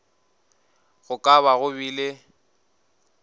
go ka ba go bile